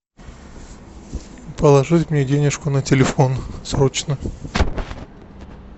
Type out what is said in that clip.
положить мне денежку на телефон срочно